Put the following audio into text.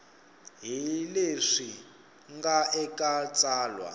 hi leswi nga eka tsalwa